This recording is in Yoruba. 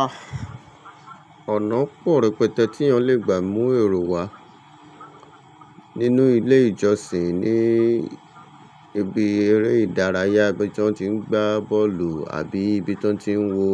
Ah, ọ̀nà pọ̀ rẹpẹtẹ tí èèyàn lè gbà mú èrò wá. Nínú ilé ìjọsìn, ní ibi eré ìdárayá ibi tí wọ́n tí ń gbá bọ́ọ̀lù àbí ibi tí wọ́n tí ń wo